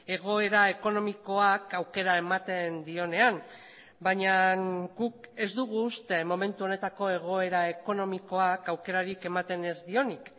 egoera ekonomikoak aukera ematen dionean baina guk ez dugu uste momentu honetako egoera ekonomikoak aukerarik ematen ez dionik